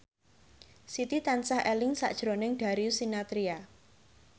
Siti tansah eling sakjroning Darius Sinathrya